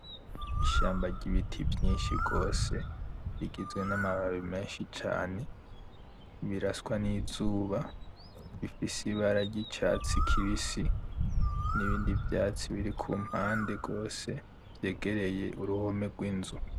Ishamba ry'ibiti vyinshi gwose bigizwe n'amababi menshi cane biraswa n'izuba bifise ibara ry'icatsi kibisi, n'ibindi vyatsi birikumpande gwose vyegereye uruhome rw'inzu.